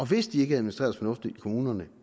hvis de ikke administreres fornuftigt i kommunerne